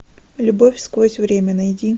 любовь сквозь время найди